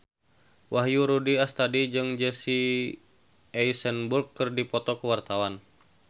Wahyu Rudi Astadi jeung Jesse Eisenberg keur dipoto ku wartawan